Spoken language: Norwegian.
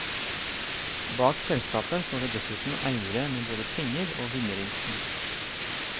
Bak selskapet står det dessuten eiere med både penger og vinnerinstinkt.